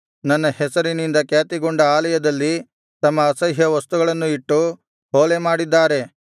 ನನ್ನ ಹೆಸರಿನಿಂದ ಖ್ಯಾತಿಗೊಂಡ ಆಲಯದಲ್ಲಿ ತಮ್ಮ ಅಸಹ್ಯ ವಸ್ತುಗಳನ್ನು ಇಟ್ಟು ಹೊಲೆ ಮಾಡಿದ್ದಾರೆ